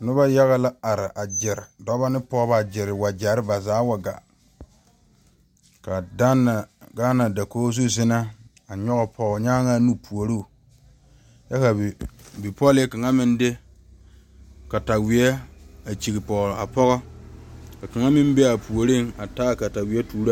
Nobɔ yaga la are a gyire dɔbɔ ne pɔɔbɔ a gyire wagyɛre ba zaa wa gaa ka Danna gaana dakoge zu zinɛ a nyoge pɔɔnyaŋaa nu puoro kyɛ ka bipɔglee kaŋa meŋ de katawie a kyige pɔge a pɔgɔ ka kaŋa meŋ be a puoriŋ a taa a katawie tuuroo.